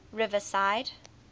riverside